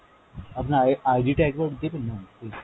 আপনার I~ ID টা একবার দেবেন ma'am please।